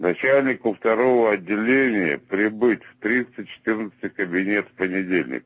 начальнику второго отделения прибыть в триста четырнадцатый кабинет в понедельник